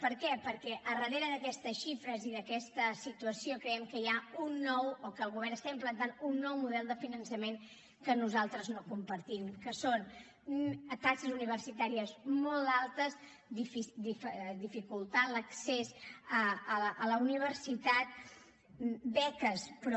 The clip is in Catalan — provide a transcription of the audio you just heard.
per què perquè al darrere d’aquestes xifres i d’aquesta situació creiem que hi ha o que el govern està implantant un nou model de finançament que nosaltres no compartim que és taxes universitàries molt altes dificultar l’accés a la universitat beques però